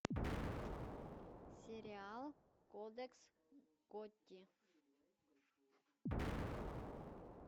сериал кодекс готти